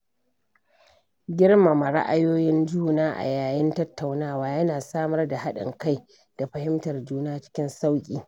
Girmama ra'ayoyin juna a yayin tattaunawa yana samar da haɗin kai da fahimtar juna cikin sauƙi.